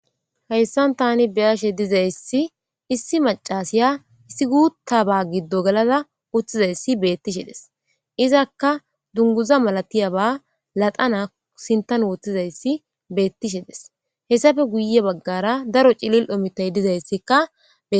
Hayssan tani beyashe dizayssi issi macasiya issi guutta ba giddo galada utthizayssi beettishe des izakka dunguza malatiya ba laxana sintan wooththizayssi beettishedes hessafe guye baggara daro cilil omitay dizayssikkae.